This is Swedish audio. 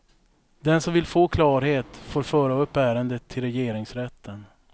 Den som vill få klarhet får föra upp ärendet till regeringsrätten.